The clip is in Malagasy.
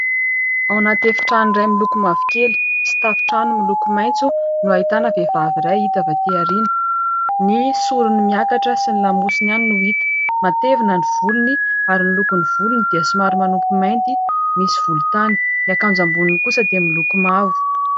Ao anaty efitrano iray miloko mavokely sy tafotrano miloko maitso no ahitana vehivavy iray hita avy aty aoriana. Ny sorony miakatra sy ny lamosiny ihany no hita. Matevina ny volony ary ny lokony volony dia somary manompy mainty, misy volontany. Ny akanjo amboniny kosa dia miloko mavo.